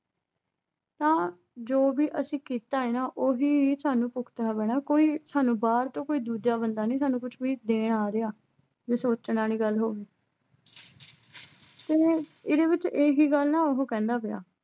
ਤਾਂ ਜੋ ਵੀ ਅਸੀਂ ਕੀਤਾ ਹੈ ਨਾ ਉਹੀ ਸਾਨੂੰ ਭੁਗਤਣਾ ਪੈਣਾ ਕੋਈ ਸਾਨੂੰ ਬਾਹਰ ਤੋਂ ਕੋਈ ਦੂਜਾ ਬੰਦਾ ਨੀ ਸਾਨੂੰ ਕੁਛ ਵੀ ਦੇਣ ਆ ਰਿਹਾ, ਜੇ ਸੋਚਣ ਵਾਲੀ ਗੱਲ ਹੋਵੇ ਤਿਵੇਂ ਇਹਦੇ ਵਿੱਚ ਇਹੀ ਗੱਲ ਨਾ ਉਹ ਕਹਿੰਦਾ ਪਿਆ।